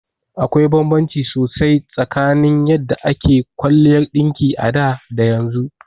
Akwai banbanci sosai tsakanin yadda ake kwaliyar ɗinki a da da yanzu.